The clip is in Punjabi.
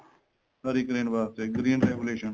ਹਰੀ ਕ੍ਰਾਂਤੀ ਵਾਸਤੇ green revaluation